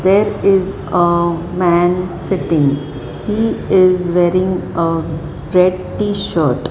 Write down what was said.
there is a man sitting he is wearing a red t-shirt.